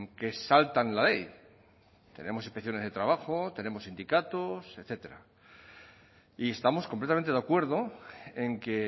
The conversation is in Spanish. que saltan la ley tenemos inspecciones de trabajo tenemos sindicatos etcétera y estamos completamente de acuerdo en que